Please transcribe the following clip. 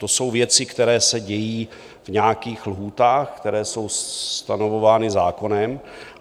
To jsou věci, které se dějí v nějakých lhůtách, které jsou stanovovány zákonem.